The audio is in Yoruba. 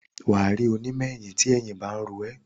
wà á rí onímọ̀-eyín tí eyín ba ń ro ẹ́.